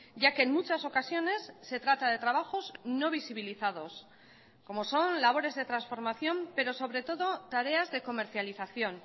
ya que en muchas ocasiones se trata de trabajos no visibilizados como son labores de transformación pero sobre todo tareas de comercialización